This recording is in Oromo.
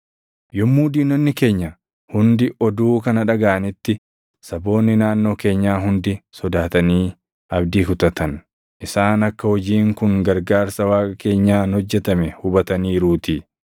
Yommuu diinonni keenya hundi oduu kana dhagaʼanitti, saboonni naannoo keenyaa hundi sodaatanii abdii kutatan; isaan akka hojiin kun gargaarsa Waaqa keenyaan hojjetame hubataniiruutii.